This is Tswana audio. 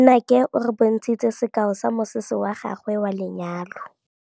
Nnake o re bontshitse sekaô sa mosese wa gagwe wa lenyalo.